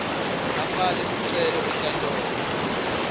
afake sicelo enkantolo